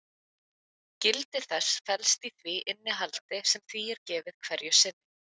Gildi þess felst í því innihaldi sem því er gefið hverju sinni.